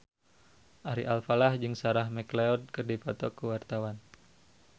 Ari Alfalah jeung Sarah McLeod keur dipoto ku wartawan